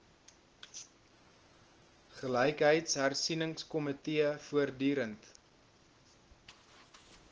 gelykheidshersie ningskomitee voortdurend